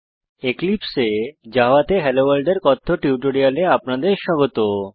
এক্লিপসে এ জাভা তে হেলোভোর্ল্ড এর কথ্য টিউটোরিয়ালে আপনাদের স্বাগত